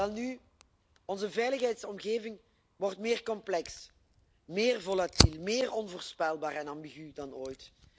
Welnu, onze veiligheidsomgeving wordt meer complex, meer volatiel, meer onvoorspelbaar en ambigu dan ooit.